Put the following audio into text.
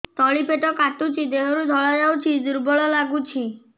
ତଳି ପେଟ କାଟୁଚି ଦେହରୁ ଧଳା ଯାଉଛି ଦୁର୍ବଳ ଲାଗୁଛି